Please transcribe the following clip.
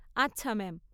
আচ্ছা, ম্যাম।